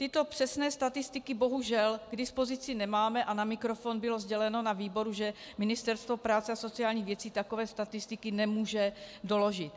Tyto přesné statistiky bohužel k dispozici nemáme a na mikrofon bylo sděleno na výboru, že Ministerstvo práce a sociálních věcí takové statistiky nemůže doložit.